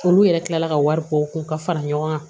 Olu yɛrɛ kila la ka wari ko kun ka fara ɲɔgɔn kan